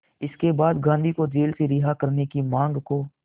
इसके बाद गांधी को जेल से रिहा करने की मांग को